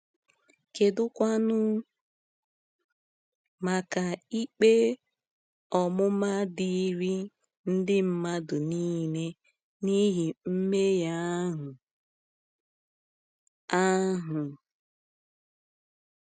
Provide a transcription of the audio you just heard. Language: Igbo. Kedụkwanụ maka ikpe ọmụma dịịrị ndị mmadụ niile n’ihi mmehie ahụ? ahụ?